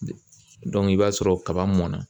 i b'a sɔrɔ kaba mɔnna.